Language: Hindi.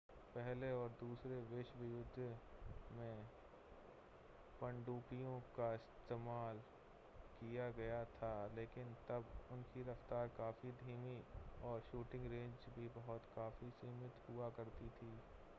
पहले और दूसरे विश्वयुद्ध में पनडुब्बियों का इस्तेमाल किया गया था लेकिन तब उनकी रफ़्तार काफ़ी धीमी और शूटिंग रेंज भी बहुत काफ़ी सीमित हुआ करती थी